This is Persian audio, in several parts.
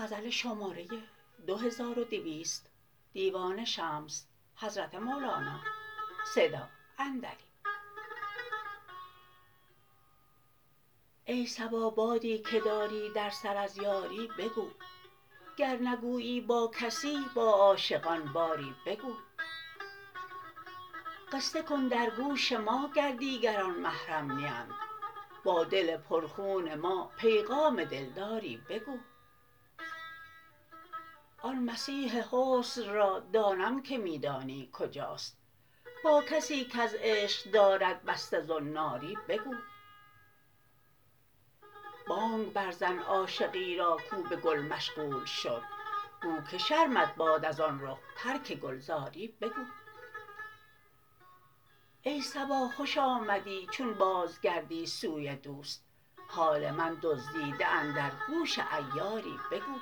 ای صبا بادی که داری در سر از یاری بگو گر نگویی با کسی با عاشقان باری بگو قصه کن در گوش ما گر دیگران محرم نیند با دل پرخون ما پیغام دلداری بگو آن مسیح حسن را دانم که می دانی کجاست با کسی کز عشق دارد بسته زناری بگو بانگ برزن عاشقی را کو به گل مشغول شد گو که شرمت باد از آن رخ ترک گلزاری بگو ای صبا خوش آمدی چون بازگردی سوی دوست حال من دزدیده اندر گوش عیاری بگو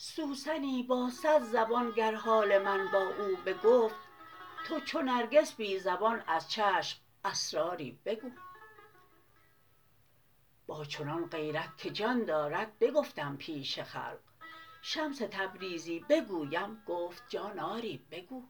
سوسنی با صد زبان گر حال من با او بگفت تو چو نرگس بی زبان از چشم اسراری بگو با چنان غیرت که جان دارد بگفتم پیش خلق شمس تبریزی بگویم گفت جان آری بگو